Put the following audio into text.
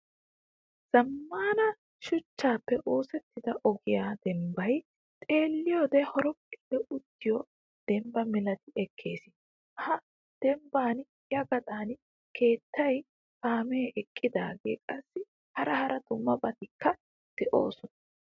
Zamaana shuchchappe oosettida ogiyaa dembbay xeeliyode horophphille uttiyo dembba milatti ekkees. Ha dembban ya gaxan keettay kaame eqqidage qassi hara dumma dummabatikka de'osona.